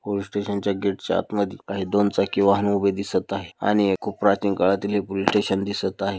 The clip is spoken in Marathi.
पोलिस स्टेशन च्या गेट च्या आतमध्ये काही दोन चाकी वाहन दिसत आहे आणि एक प्राचीन काळातील एक पोलिस स्टेशन दिसत आहे.